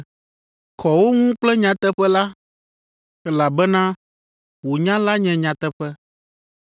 Kɔ wo ŋu kple nyateƒe la, elabena wò nya la nye nyateƒe.